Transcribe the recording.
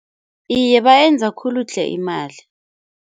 Iye bayenza khulu tle imali.